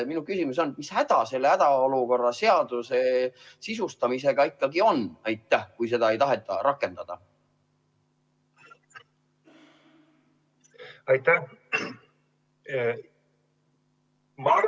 Minu küsimus on: mis häda selle hädaolukorra seaduse sisustamisega ikkagi on, et seda ei taheta rakendada?